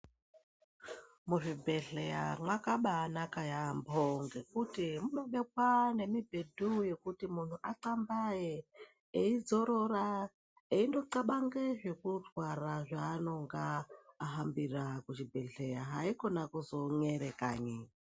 Muzvibhedhlera makananaka yaambo ngekuti munobekwa nemibhedhu yekuti munhu anxambaye eidzorora eindo tsxabanga zvekurwara zvaanonga ahambira kuchibhedhlera haikona kuzon'era kanyi.